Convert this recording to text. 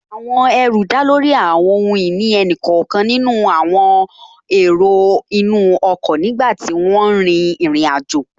Ẹrù dá lórí àwọn ohun ìní ẹnì kọ̀ọ̀kan nínú àwọn èrò inú ọkọ̀ nígbàtí wọ́n n rin ìrìn àjò